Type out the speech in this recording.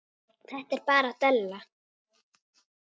Þetta er bara della.